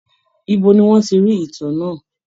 Ibo ni wọ́n ti rí ìtàn náà?